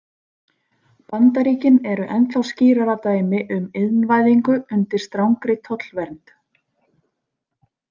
Bandaríkin eru ennþá skýrara dæmi um iðnvæðingu undir strangri tollvernd.